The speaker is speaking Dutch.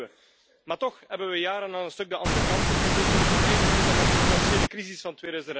Dat wisten we, maar toch hebben we jaren aan een stuk de andere kant op gekeken, eigenlijk tot en met de financiële crisis van